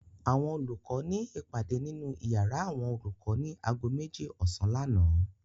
Àwọn olùkọ́ ní ìpàdé nínú ìyàrá àwọn olùkọ́ ní ago méjì ọ̀sán lánàá.